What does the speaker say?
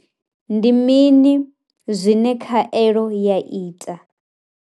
Ndi mini zwine khaelo ya ita?